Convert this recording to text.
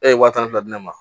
E ye waa tan fila di ne ma